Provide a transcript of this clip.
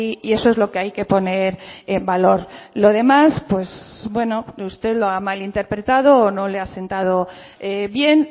y eso es lo que hay que poner en valor lo demás pues bueno usted lo ha malinterpretado o no le ha sentado bien